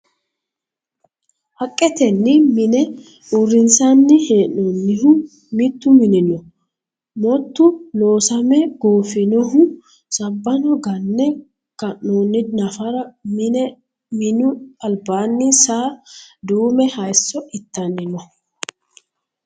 Haqqeteni minne uurrinsanni hee'nonihu mitu mini no motu loosame goofinohu sabbbano gane ka'noni nafara minu albaanni saa duume hayso ittanni no.